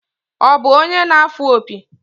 Ọ bụ onye na-afụ opi?